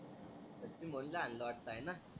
सचीनी भाऊला हाणलं वाटत आहे ना.